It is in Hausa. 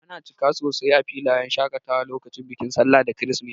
Ana cika sosai a filayen shakatawa lokacin bikin sallah da kirisimeti.